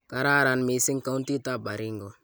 kararan mising countitab Baringo